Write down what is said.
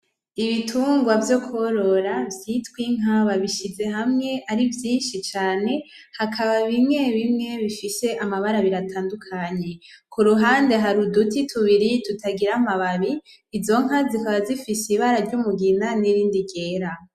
Ibitungwa vyo kworora vyitwa Inka babishize hamwe ari vyinshi cane, hakaba bimwe bimwe bifise amabara abiri atandukanye. Ku ruhande hari uduti tubiri tutagira amababi, izo nka zikaba zifise ibara ry’umugina n’irindi ryera.